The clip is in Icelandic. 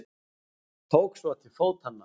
Tók svo til fótanna.